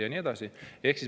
Ja nii edasi.